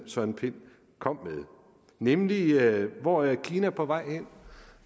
søren pind kom med nemlig hvor er kina på vej hen